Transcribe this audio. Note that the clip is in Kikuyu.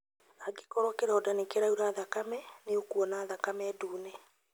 Angĩkorũo kĩronda nĩ kĩraura thakame, nĩ ũkuona thakame ndune.